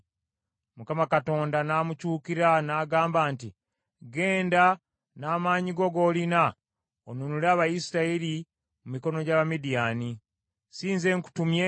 Mukama Katonda n’amukyukira n’agamba nti, “Ggenda n’amaanyigo g’olina, onunule Abayisirayiri mu mikono gy’Abamidiyaani: si nze nkutumye?”